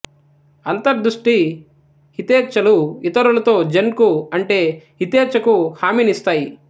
అంతర్దృష్టి హితేఛ్ఛలు ఇతరులతో జెన్ కు అంటే హితేచ్చకు హామీనిస్తాయి